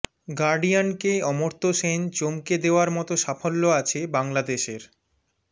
গার্ডিয়ানকে অমর্ত্য সেন চমকে দেওয়ার মতো সাফল্য আছে বাংলাদেশের